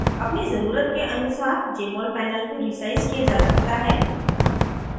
अपनी ज़रूरत के अनुसार jmol panel को रीसाइज़ किया जा सकता है